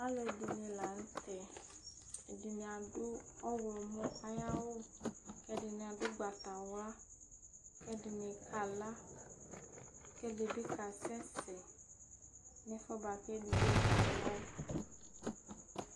Alʋɛdìní la ntɛ Ɛdiní adu ɔwlɔmɔ ayʋ awu Ɛdiní adu ugbatawla Ɛdiní kala kʋ ɛdí bi kasɛsɛ nʋ ɛfʋɛ bʋakʋ ɛdigbo kala yɛ